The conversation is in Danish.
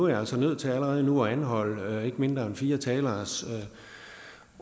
er altså nødt til allerede nu at anholde ikke mindre end fire taleres